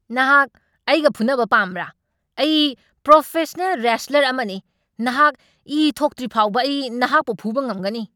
ꯅꯍꯥꯛ ꯑꯩꯒ ꯐꯨꯅꯕ ꯄꯥꯝꯕ꯭ꯔꯥ? ꯑꯩ ꯄ꯭ꯔꯣꯐꯦꯁꯅꯦꯜ ꯔꯦꯁꯠꯂꯔ ꯑꯃꯅꯤ! ꯅꯍꯥꯛ ꯏ ꯊꯣꯛꯇ꯭ꯔꯤꯐꯥꯎꯕ ꯑꯩ ꯅꯍꯥꯛꯄꯨ ꯐꯨꯕ ꯉꯝꯒꯅꯤ꯫